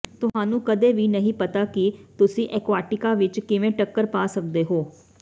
ਤੁਹਾਨੂੰ ਕਦੇ ਵੀ ਨਹੀਂ ਪਤਾ ਕਿ ਤੁਸੀਂ ਐਕੁਆਟੀਕਾ ਵਿਚ ਕਿਵੇਂ ਟੱਕਰ ਪਾ ਸਕਦੇ ਹੋ